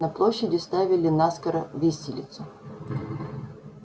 на площади ставили наскоро виселицу